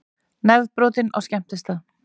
Nefbrotinn á skemmtistað